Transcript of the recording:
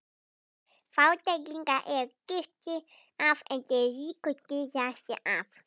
Fátæklingarnir eru girtir af en þeir ríku girða sig af.